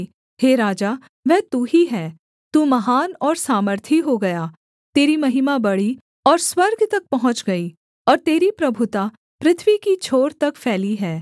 हे राजा वह तू ही है तू महान और सामर्थी हो गया तेरी महिमा बढ़ी और स्वर्ग तक पहुँच गई और तेरी प्रभुता पृथ्वी की छोर तक फैली है